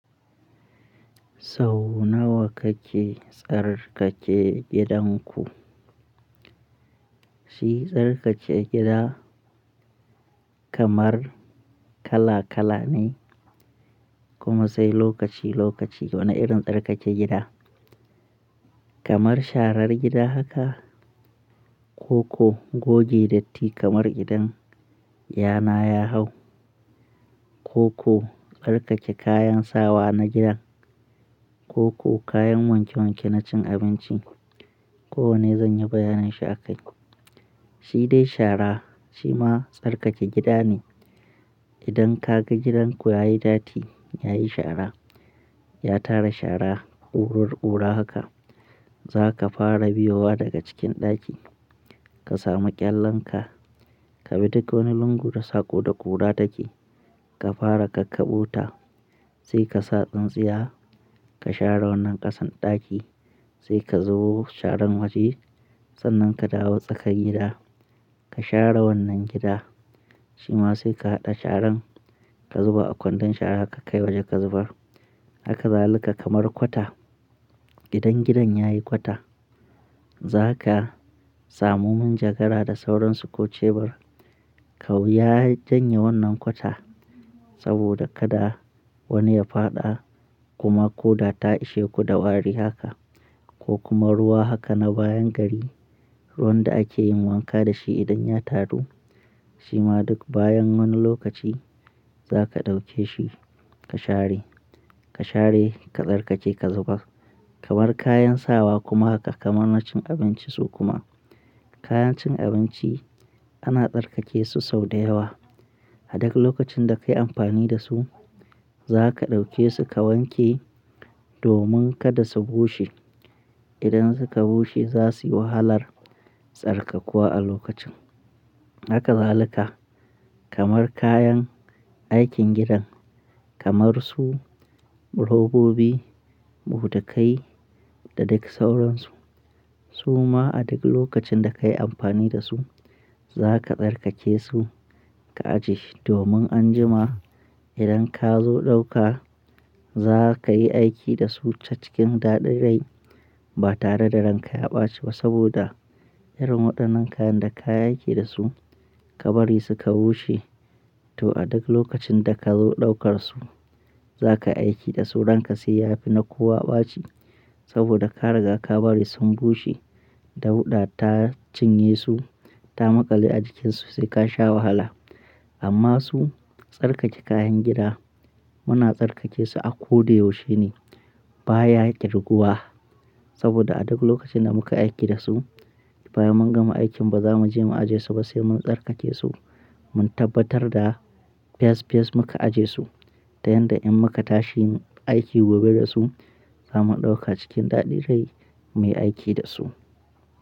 Sau nawa kake tsarkake gidanku? Shi tsarkake gida kamar kala kala ne kuma sai lokaci lokaci wani irin tsarkake gida. Kamar sharar gida haka ko ko goge datti kamar idan yayana ya hau ko ko tsarkake kayan sawa na gida ko ko kayan wanke wanke na cin abinci. Ko wanne zan yi bayanin shi a kai. Shi dai shara shi ma tsarkake gida ne. Idan kaga gidanku ya yi datti, ya yi shara, ya tara shara, ƙurur ƙura haka, za ka fara biyo wa daga cikin ɗaki. Ka samu ƙyallenka, ka bi duk wani lungu da sako da ƙura take, ka fara kakkaɓota. Sai ka sa tsintsiya ka share wannan ƙasan ɗaki. Sai ka zubo sharan waje sannan ka dawo tsakar gida ka share wannan gida. Shi ma sai ka haɗa sharan ka zuba a kwandon shara ka kai waje ka zubar. Haka zaluka kamar kwata. Idan gidan yayi kwata. Zaka samu min jagara da sauransu ko cebur. Kau ya janye wannan kwata saboda kada wani ya faɗa kuma koda ta ishe ku da wari haka ko kuma ruwa haka na bayan gari. Ruwan da ake yin wanka da shi idan ya taru shi ma duk bayan wani lokaci za ka ɗauke shi ka share. Ka share ka tsarkake ka zubar. Kamar kayan sawa kuma haka kamar na cin abinci su kuma kayan cin abinci ana tsarkake su sau da yawa. A duk lokacin da ka yi amfani da su, za ka ɗauke su ka wanke domin kada su bushe. Idan suka bushe za su yi wahalar tsarkakuwa a lokacin. Haka zalika kamar kayan aikin gidan kamar su robobi, buɗakai da duk sauransu. Su ma a duk lokacin da ka yi amfani da su, za ka tsarkake su ka ajiye domin anjima idan ka zo ɗauka za ka yi aiki da su ta cikin daɗin rai ba tare da ranka ya ɓaci ba saboda irin waɗannan kayan da ka yi aiki da su ka bari su ka bushe to a duk lokacin da ka zo ɗaukar su, za kayi aiki da su ranka sai ya fi na kowa ɓaci saboda ka riga ka bari sun bushe dauɗa ta cinye su ta maƙale a jikinsu sai ka sha wahala. Amma su tsarkake kayan gida muna tsarkake su a ko da yaushe ne ba ya ƙirguwa saboda a duk lokacin da muka aiki da su bayan mun gama aikin ba za mu je mu ajiye su ba sai mun tsarkake su. Mun tabbatar da fyas fyas muka ajiye su ta yanda in muka tashi aiki gobe da su za mu ɗauka cikin daɗi dai muyi aiki da su.